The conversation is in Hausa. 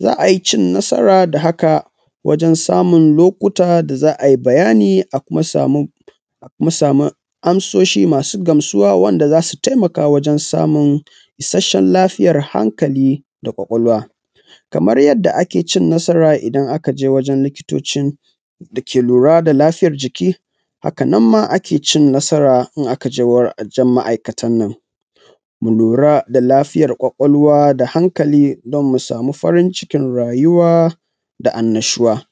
za ai cin nasara da haka wajan samun lokuta da za a yi bayani a kuma samu amsoshi masu gamsuwa wanda za su taimaka wajan samun ishashshen lafiyar hankali da ƙwaƙwalwa. Kamar yanda ake cin nasara idan aka je wajan likitocin da ke lura da lafiyar jiki, haka nan ma ake ci nasara in aka je wajan ma'aikatan nan. Mu lura da lafiyar ƙwaƙwalwa da hankali don mu samu farin cikin rayuwa da annashuwa.